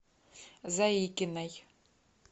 заикиной